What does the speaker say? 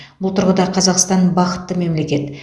бұл тұрғыда қазақстан бақытты мемлекет